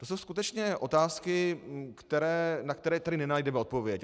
To jsou skutečně otázky, na které tady nenajdeme odpověď.